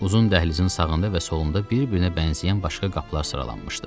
Uzun dəhlizin sağında və solunda bir-birinə bənzəyən başqa qapılar sıralanmışdı.